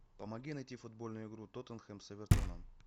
помоги найти футбольную игру тоттенхэм с эвертоном